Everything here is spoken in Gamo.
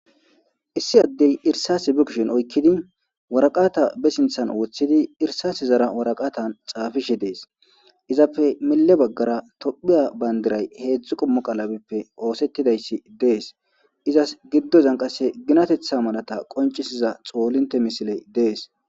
Issi addey irsase be kishin oykkidi waraqata be sinthan wooththidi irsase zara waraqatan xaafishe dees izappe mille baggara tophiya bandiray heedzdzu qommo qalabippe oosettidayssi dees izas giddozan qase ginatetha malata qoncisiza xoolinte misiley dees.